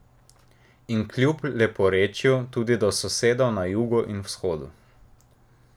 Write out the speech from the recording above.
In kljub leporečju tudi do sosedov na jugu in vzhodu.